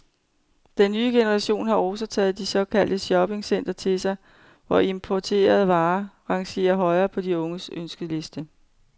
Den nye generation har også taget de såkaldte shoppingcentre til sig, hvor importerede varer rangerer højt på de unges ønskeliste.